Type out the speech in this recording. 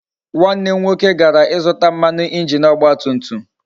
Nwanne m nwoke gara ịzụta mmanụ injin ọgba tum tum